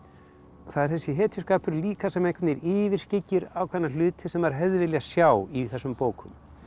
það er þessi hetjuskapur líka sem einhvern veginn yfirskyggir ákveðna hluti sem maður hefði viljað sjá í þessum bókum